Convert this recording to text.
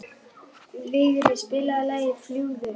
Vigri, spilaðu lagið „Fljúgðu“.